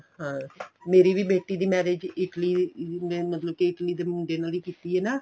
ਹਾਂ ਮੇਰੀ ਵੀ ਬੇਟੀ ਦੀ marriage Italy ਮਤਲਬ ਕੇ Italy ਦੇ ਮੁੰਡੇ ਨਾਲ ਕੀਤੀ ਏ ਨਾ